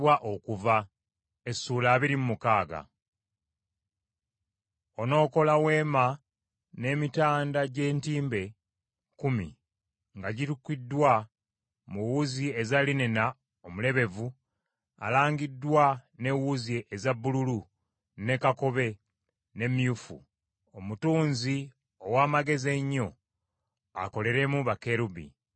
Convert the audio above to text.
“Onookola Weema n’emitanda gy’entimbe kkumi, nga girukiddwa mu wuzi eza linena omulebevu alangiddwa n’ewuzi eza bbululu, ne kakobe, ne myufu. Omutunzi ow’amagezi ennyo akoleremu bakerubi.